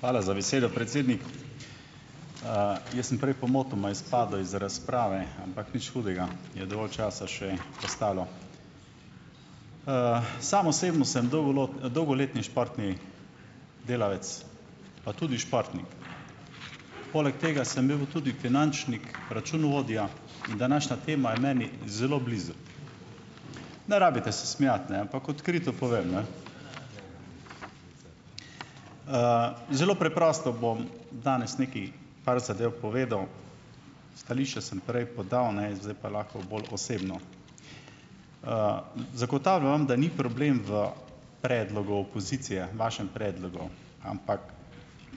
Hvala za besedo, predsednik. Jaz sem prej pomotoma izpadel iz razprave, ampak nič hudega, je dovolj časa še ostalo. Sam osebno sem dolgoletni športni delavec pa tudi športnik. Poleg tega sem bil tudi finančnik, računovodja in današnja tema je meni zelo blizu. Ne rabite se smejati, ne, ampak odkrito povem, ne. Zelo preprosto bom danes nekaj par zadev povedal. Stališča sem prej podal, ne, zdaj pa lahko bolj osebno. Zagotavljam vam, da ni problem v predlogu opozicije, vašem predlogu, ampak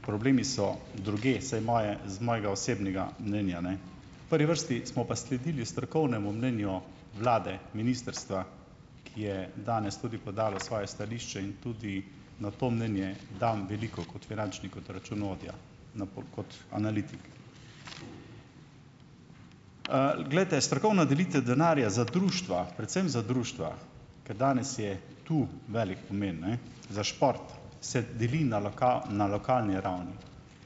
problemi so drugje - vsaj moje z mojega osebnega mnenja, ne. Prvi vrsti smo pa sledili strokovnemu mnenju vlade, ministrstva, ki je danes tudi podalo svoje stališče in tudi na to mnenje dam veliko, kot finančnik, kot računovodja, na kot analitik. Glejte, strokovna delitev denarja za društva, predvsem za društva, ker danes je tu velik pomen, ne, za šport, se deli na na lokalni ravni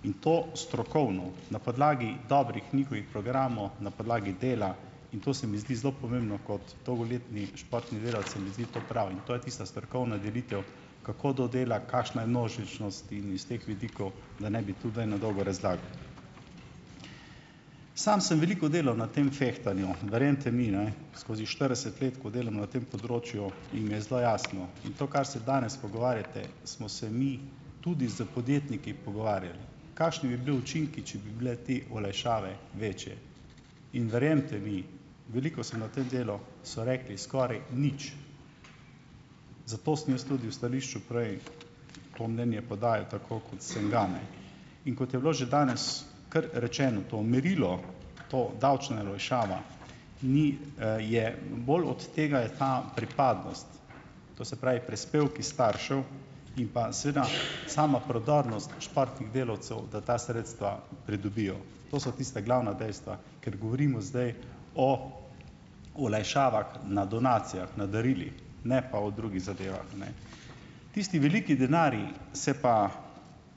in to strokovno na podlagi dobrih njihovih programov, na podlagi dela, in to se mi zdi zelo pomembno, kot dolgoletni športni delavec, se mi zdi to prav in to je tista strokovna delitev, kako do dela, kakšna je množičnost in iz teh vidikov, da ne bi tu zdaj na dolgo razlagal. Samo sem veliko delal na tem "fehtanju", verjemite mi, ne, skozi štirideset let, ko delam na tem področju, in mi je zelo jasno in to, kar se danes pogovarjate, smo se mi tudi s podjetniki pogovarjali kakšni bi bili učinki, če bi bile te olajšave večje, in verjemite mi, veliko sem na tem delu, so rekli skoraj nič. Zato sem jaz tudi v stališču prej to mnenje podajal tako, kot sem ga, ne. In kot je bilo že danes, kar rečeno to merilo, to davčna olajšava ni, je bolj od tega, je ta pripadnost, to se pravi prispevki staršev in pa seveda sama prodornost športnih delavcev, da ta sredstva pridobijo. To so tista glavna dejstva, ker govorimo zdaj o olajšavah na donacijah, na darilih, ne pa o drugih zadevah, a ne. Tisti veliki denarji se pa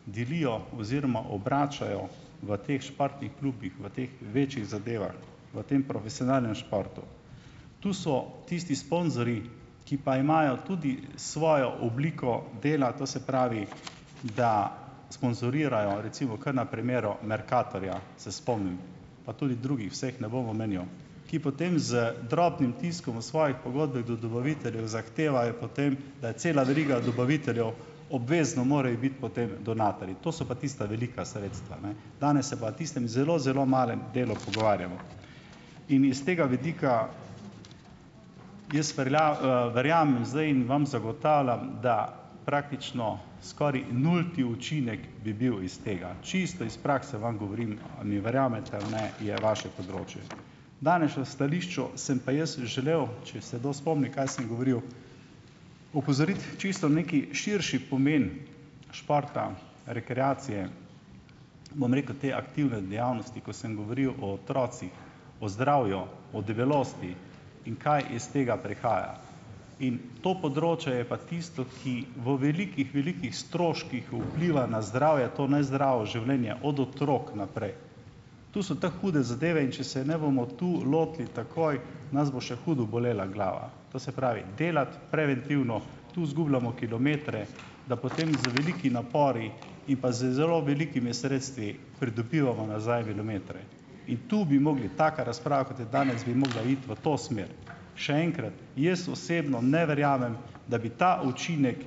delijo oziroma obračajo v teh športnih klubih, v teh večjih zadevah, v tem profesionalnem športu. Tu so tisti sponzorji, ki pa imajo tudi svojo obliko dela, to se pravi, da sponzorirajo, recimo kar na primeru Mercatorja se spomnim pa tudi drugih, vseh ne bom omenjal, ki potem z drobnim tiskom v svojih pogodbah do dobaviteljev zahtevajo potem, da je cela veriga dobaviteljev, obvezno morajo biti potem donatorji. To so pa tista velika sredstva, ne. Danes se pa tistem zelo, zelo malem delu pogovarjamo. In iz tega vidika jaz verjamem zdaj in vam zagotavljam, da praktično skoraj nulti učinek bi bil iz tega, čisto iz prakse vam govorim. A mi verjamete ali ne, je vaše področje. Danes na stališču sem pa jaz želel, če se kdo spomni, kaj sem govoril, opozoriti čisto neki širši pomen športa, rekreacije, bom rekel te aktivne dejavnosti, ko sem govoril o otrocih, o zdravju, o debelosti in kaj iz tega prihaja in to področje je pa tisto, ki v velikih, velikih stroških vpliva na zdravje to nezdravo življenje od otrok naprej. Tu so te hude zadeve, in če se ne bomo tu lotili takoj, nas bo še hudo bolela glava. To se pravi delati preventivno, tu izgubljamo kilometre, da potem z velikimi napori in pa z zelo velikimi sredstvi pridobivamo nazaj kilometre in to bi mogli - taka razprava, kot je danes, bi mogla iti v to smer. Še enkrat, jaz osebno ne verjamem, da bi ta učinek,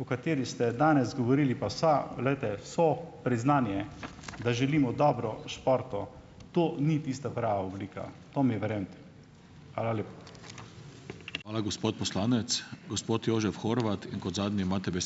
o katerem ste danes govorili, pa vse, glejte, so priznanje, da želimo dobro športu, to ni tista prava oblika. To mi verjemite. Hvala lepa.